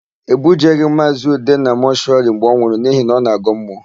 E bujeghị Maazị Ude na mọshụwarị mgbe ọ nwụrụ n'ihi na ọ na-agọ mmụọ.